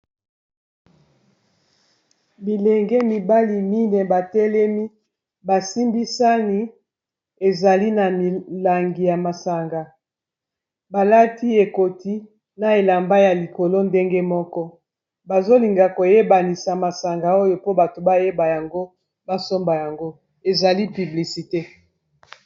bilenge mibali mine batelemi basimbisani ezali na milangi ya masanga balati ekoti na elamba ya likolo ndenge moko bazolinga koyebanisa masanga oyo po bato bayeba yango basomba yango ezali piblisite